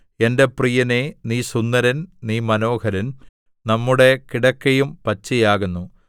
എന്റെ പ്രിയനേ നീ സുന്ദരൻ നീ മനോഹരൻ നമ്മുടെ കിടക്കയും പച്ചയാകുന്നു